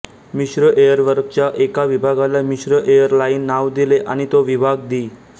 मिश्र एयरवर्कच्या एका विभागाला मिश्र एअर लाइन नाव दिले आणि तो विभाग दी